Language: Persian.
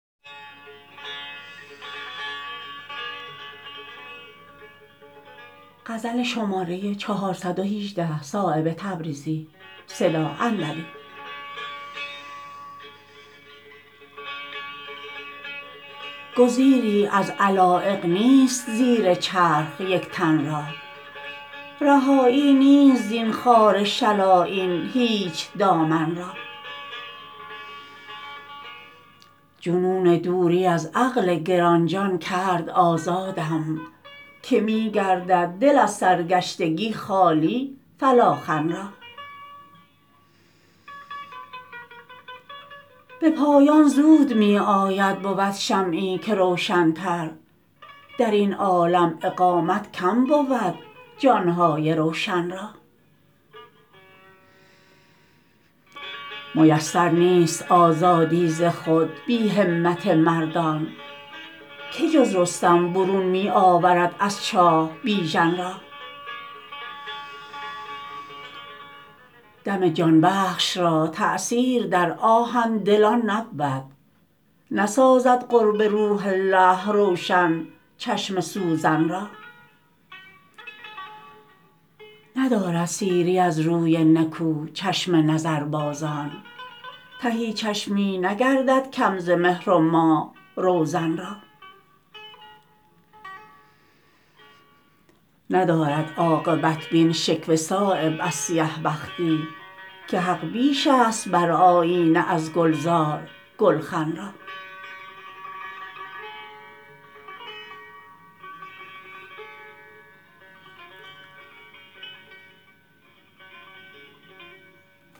گزیری از علایق نیست زیر چرخ یک تن را رهایی نیست زین خار شل آیین هیچ دامن را جنون دوری از عقل گرانجان کرد آزادم که می گردد دل از سرگشتگی خالی فلاخن را به پایان زود می آید بود شمعی که روشنتر درین عالم اقامت کم بود جانهای روشن را میسر نیست آزادی ز خود بی همت مردان که جز رستم برون می آورد از چاه بیژن را دم جانبخش را تأثیر در آهن دلان نبود نسازد قرب روح الله روشن چشم سوزن را ندارد سیری از روی نکو چشم نظربازان تهی چشمی نگردد کم ز مهر و ماه روزن را ندارد عاقبت بین شکوه صایب از سیه بختی که حق بیش است بر آیینه از گلزار گلخن را